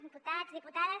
diputats diputades